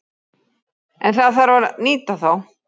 En það þarf að nýta þá.